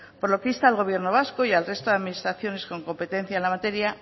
por lo que insta al gobierno vasco y al resto de administraciones con competencia en la materia